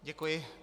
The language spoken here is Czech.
Děkuji.